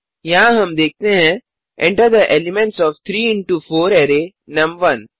यहाँ हम देखते हैं Enter the elements of 3 into 4 array नुम1